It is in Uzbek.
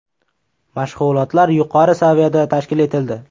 Mashg‘ulotlar yuqori saviyada tashkil etildi.